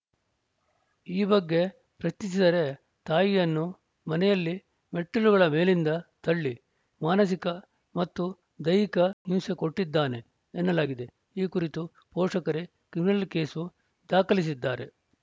ಈ ಬಗ್ಗೆ ಪ್ರಶ್ನಿಸಿದರೆ ತಾಯಿಯನ್ನು ಮನೆಯಲ್ಲಿ ಮೆಟ್ಟಿಲುಗಳ ಮೇಲಿಂದ ತಳ್ಳಿ ಮಾನಸಿಕ ಮತ್ತು ದೈಹಿಕ ಹಿಂಸೆ ಕೊಟ್ಟಿದ್ದಾನೆ ಎನ್ನಲಾಗಿದೆ ಈ ಕುರಿತು ಪೋಷಕರೇ ಕ್ರಿಮಿನಲ್‌ ಕೇಸು ದಾಖಲಿಸಿದ್ದಾರೆ